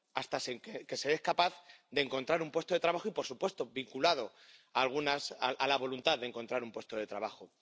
Hasta que se es capaz de encontrar un puesto de trabajo y, por supuesto, vinculado a la voluntad de encontrar un puesto de trabajo.